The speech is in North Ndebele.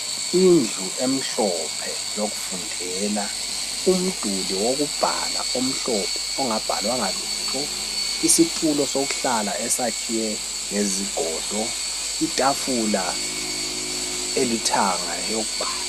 Indlu emhlophe yokufundela, umduli wokubhala omhlophe ongabhalwanga lutho, isitulo sokuhlala esakhiwe ngezigodo itafula elithanga yokubhala.